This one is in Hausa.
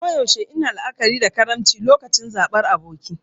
A koyaushe ina la'akari da karimci lokacin zabar aboki.